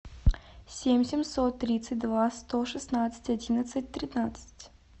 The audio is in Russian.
семь семьсот тридцать два сто шестнадцать одиннадцать тринадцать